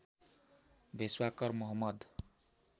भेष्वाकर Mohammad